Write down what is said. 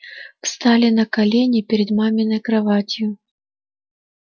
встал на колени перед маминой кроватью